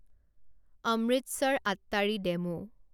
Amritsar Attari DEMU